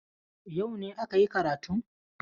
Yau ne ka yi karatun?